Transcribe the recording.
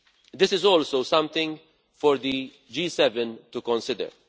This is also something for the G7 to consider.